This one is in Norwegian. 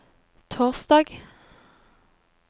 torsdag